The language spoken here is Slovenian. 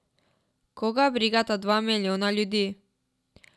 Koga brigata dva milijona ljudi!